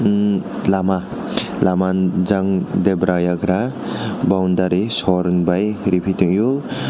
hmm lama lama jung debra yagra boundary sori ni baio repitaio.